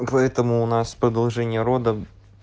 поэтому у нас продолжение рода